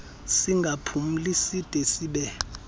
singaphumli side sibe